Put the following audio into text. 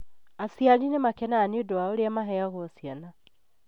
Aciari nĩ makenaga nĩ ũndu wa ũrĩa maheagwo wa ciana.